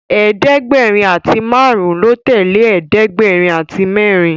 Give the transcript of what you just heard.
ẹ̀ẹ́dẹ̀gbẹ̀rin àti márùn lọ tẹlẹ ẹ̀ẹ́dẹ̀gbẹ̀rin àti mérin